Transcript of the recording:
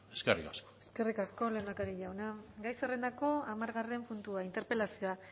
eskerrik asko eskerrik asko lehendakari jauna gai zerrendako hamargarren puntua interpelazioa